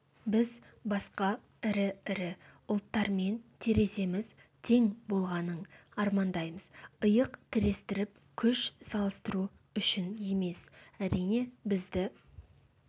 біз басқа ірі-ірі ұлттармен тереземіз тең болғанын армандаймыз иық тірестіріп күш салыстыру үшін емес әрине бізді